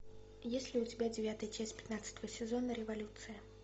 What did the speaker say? есть ли у тебя девятая часть пятнадцатого сезона революция